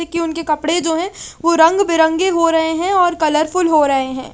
देखिए उनके कपड़े जो है वो रंग बी बेरंगे हो रहे है और कलरफुल हो रहे है ।